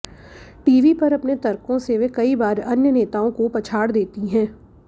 TV पर अपने तर्कों से वे कई बार अन्य नेताओं को पछाड़ देती हैं